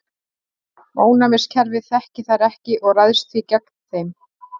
Ónæmiskerfið þekkir þær ekki og ræðst því gegn þeim.